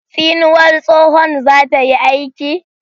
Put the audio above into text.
Tsinuwar tsohon za ta yi aiki?